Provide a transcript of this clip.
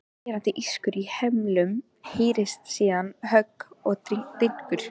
Skerandi ískur í hemlum heyrist, síðan högg og dynkur.